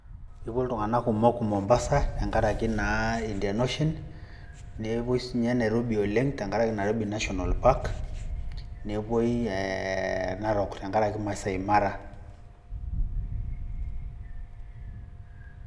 kepuo iltunganak kumok mombasatenkaraki indian ocean, nepuoi nairobi tenkaraki Nairobi national park, nepuoi narok tenkaraki maasai mara.